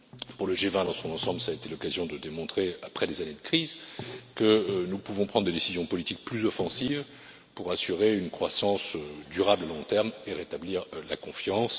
Pour le G20 dans son ensemble, ça a été l'occasion de démontrer, après des années de crise, que nous pouvons prendre des décisions politiques plus offensives pour assurer une croissance durable à long terme et rétablir la confiance.